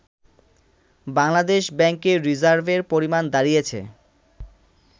বাংলাদেশ ব্যাংকের রিজার্ভের পরিমাণ দাঁড়িয়েছে